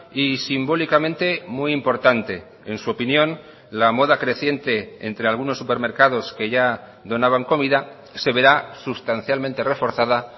y simbólicamente muy importante en su opinión la moda creciente entre algunos supermercados que ya donaban comida se verá sustancialmente reforzada